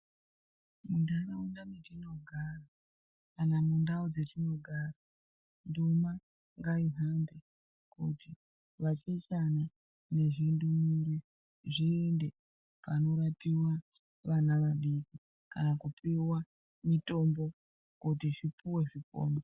Muntaraunda metinogara kana mundau dzetinogara nduma ngaihambe kuti vachechana nezvindumure zviende panorapiwa vana vadiki kana kupiwa mitombo kuti zvipuwe zvipone.